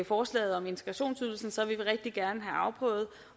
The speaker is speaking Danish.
forslaget om integrationsydelsen rigtig gerne have afprøvet